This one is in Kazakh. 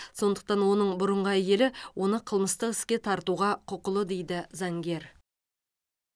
сондықтан оның бұрынғы әйелі оны қылмыстық іске тартуға құқылы дейді заңгер